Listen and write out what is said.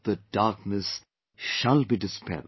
The darkness shall be dispelled